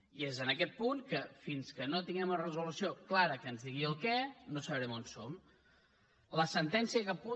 i és en aquest punt que fins que no tinguem una resolució clara que ens digui el què no sabrem on som